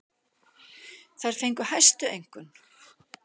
Þær fengu hæstu einkunn.